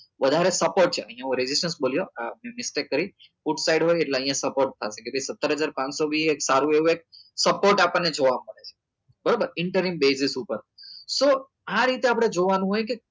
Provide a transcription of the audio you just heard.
વધારે support છે આ નવું બોલ્યો આ મેં mistake કરી food side હોય એટલે અહિયાં support થશે એટલે સત્તર હજાર પાંચસો બી એક સારું એવું એક support આપણને જોવા મળે બરોબર incoming basis ઉપર so આ રીતે આપડે જોવા નું હોય કે